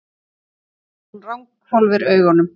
Hún ranghvolfir augunum.